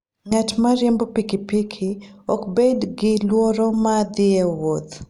Ng'at ma riembo pikipiki ok bed gi luoro mar dhi e wuoth.